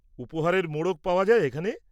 উপহারের মোড়ক পাওয়া যায় এখানে?